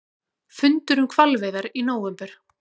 Fundur um hvalveiðar í nóvember